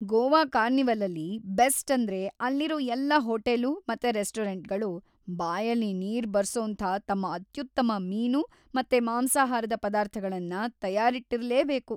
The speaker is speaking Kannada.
ಗೋವಾ ಕಾರ್ನಿವಲಲ್ಲಿ ಬೆಸ್ಟ್‌ ಅಂದ್ರೆ ಅಲ್ಲಿರೋ ಎಲ್ಲ ಹೋಟೇಲು ಮತ್ತೆ ರೆಸ್ಟೂರೆಂಟ್ಗಳು ಬಾಯಲ್ಲಿ ನೀರ್‌ ಬರ್ಸೋಂಥ ತಮ್ಮ ಅತ್ಯುತ್ತಮ ಮೀನು ಮತ್ತೆ ಮಾಂಸಾಹಾರದ ಪದಾರ್ಥಗಳನ್ನ ತಯಾರಿಟ್ಟಿರ್ಲೇಬೇಕು.